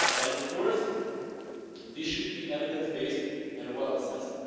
Of course, this should be evidence-based and well assessed.